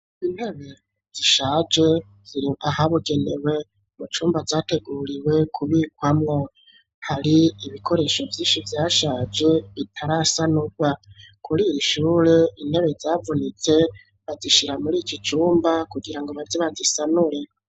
Intebe zishaje zirahabigenewe mu cumba categuriwe kubikwamwo, hari ibikoresho vyinshi vyashaje bitarasanugwa, kuriy'ishure intebe zavunitse bazishira muri iki cumba kugira ngo baze bazisanure.